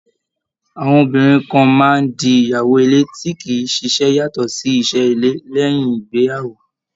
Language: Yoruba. Àwọn obìnrin kan máa ń di ìyàwó ilé tí kì í ṣiṣẹ́ yàtọ̀ sí iṣẹ́ ilé, lẹ́uìn ìgbéyàwó.